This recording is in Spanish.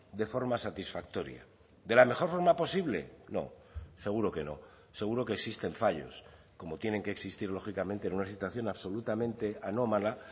de forma satisfactoria de la mejor forma posible no seguro que no seguro que existen fallos como tienen que existir lógicamente en una situación absolutamente anómala